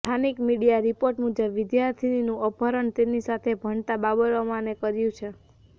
સ્થાનિક media report મુજબ વિદ્યાર્થીનીનું અપહરણ તેની સાથે ભણતા બાબર અમાને કર્યું છે